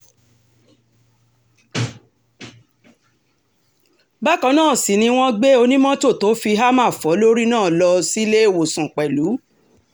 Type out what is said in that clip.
bákan náà sì ni wọ́n gbé onímọ́tò tó fi hámà fò lórí náà lọ síléèọ̀sán pẹ̀lú